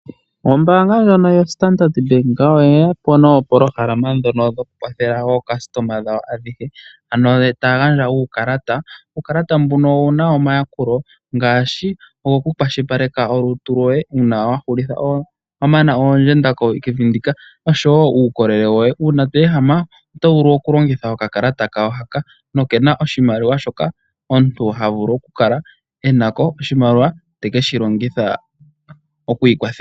Ombaanga ndjono yostandard bank oye ya po noopolohalama ndhono dhokukwathela aayakulwa yawo ayehe, ano taya gandja uukalata. Uukalata mbuno owu na omayakulo ngaashi ogokukwashilipaleka olutu lwoye uuna wa mana oondjenda kevi ndika , osho wo uukolele woye. Uuna to ehama oto vulu okulongitha okakalata kawo haka noke na oshimaliwa shoka omuntu ha vulu okula e na ko oshimaliwa te ke shi longitha oku ikwathela.